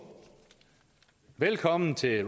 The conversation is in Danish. velkommen til